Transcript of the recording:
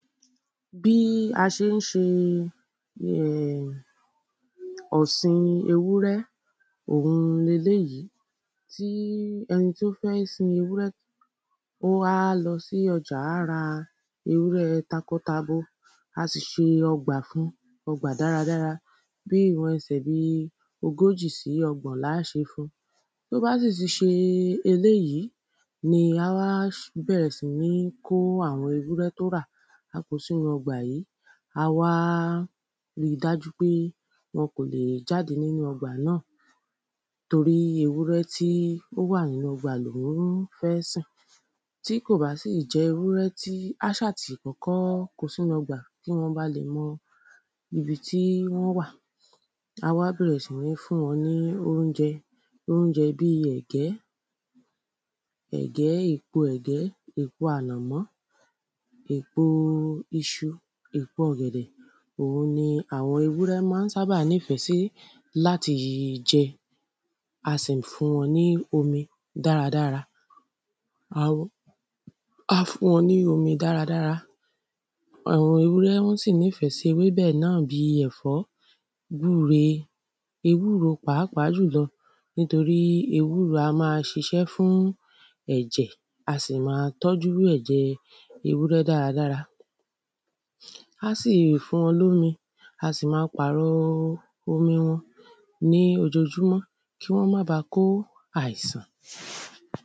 Bí a ṣe ń ṣe ọ̀sìn ewúrẹ́ òun ni eléyìí Tí eni tí ó fẹ́ sin ewúrẹ́ Ó á lọ sí ọjà á ra takọtabo A sì ṣe ọgbà fún ọgbà dáradára Bíi ìwọn ẹsẹ̀ bíi ogójì sí ọgbọ̀n ni á ṣe fun Tí ó bá sì ti ṣe eléyìí ní á bẹ̀rẹ̀ sí ń kó àwọn ewúrẹ́ tí ó rà á ko sínú ọgbà yìí A wá ri dájú pé wọ́n kò lè jáde nínú ọgbà náà Torí ewúrẹ́ tí ó wà nínú ọgbà nínú ọgbà ni òhun fẹ́ sìn Tí kò bá sì jẹ́ ewúrẹ́ tí á ṣáà tì kọ́kọ́ ko sínú ọgbà kí wọn ba lè mọ ibi tí wọ́n wà Á wá bẹ̀rẹ̀ sí ní fún wọn ní óunjẹ óunjẹ bíi ẹ̀gẹ́ Ẹ̀gẹ́ èpo ẹ̀gẹ́ èpo ànàmọ́ Èpo iṣu èpo ọ̀gẹ̀dẹ̀ Òun ni àwọn ewúrẹ́ ma ń sábà nífẹ̀ sí láti jẹ Á sì ń fún wọn ní omi dáradára Á fún wọn ní omi dáradára Àwọn ewúrẹ wọ́n sì nífẹ̀ sí ewébẹ̀ náà bíi ẹ̀fọ́ Gúre ewúro pàápàá jùlọ nítorí ewúro á máa ṣiṣẹ́ fún ẹ̀jẹ̀ á sì máa tọ́jú ẹ̀jẹ̀ẹ ewúrẹ́ dáradára Á sì fún wọn ní omi Á sì máa pàrọ̀ omi wọn ní ojojúmọ́ kí wọ́n má ba kó àìsàn